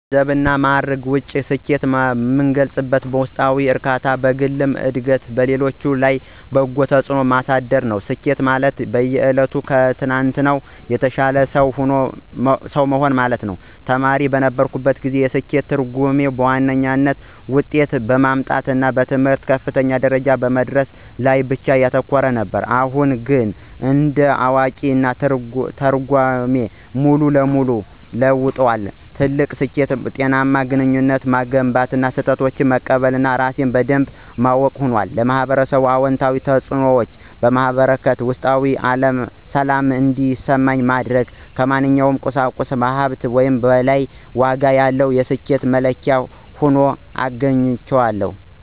ከገንዘብና ከማዕረግ ውጪ፣ ስኬትን የምገልጸው በውስጣዊ እርካታ፣ በግል ዕድገትና በሌሎች ላይ በጎ ተጽዕኖ በማሳደር ነው። ስኬት ማለት በየዕለቱ ከትናንትናው የተሻለ ሰው መሆን ነው። ተማሪ በነበርኩበት ጊዜ፣ የስኬት ትርጉሜ በዋነኛነት ጥሩ ውጤት በማምጣትና በትምህርት ከፍተኛ ደረጃ በመድረስ ላይ ብቻ ያተኮረ ነበር። አሁን ግን እንደ አዋቂ፣ ትርጓሜው ሙሉ በሙሉ ተለውጧል። ትልቁ ስኬት ጤናማ ግንኙነቶችን መገንባት፣ ስህተቶችን መቀበል እና ራሴን በደንብ ማወቅ ሆኗል። ለኅብረተሰብ አዎንታዊ አስተዋጽኦ ማበርከት እና ውስጣዊ ሰላም እንዲሰማኝ ማድረግ ከማንኛውም ቁሳዊ ሀብት በላይ ዋጋ ያለው የስኬት መለኪያ ሆኖ አግኝቼዋለሁ።